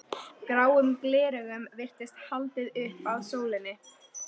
Gráum gleraugum virtist haldið upp að sólinni.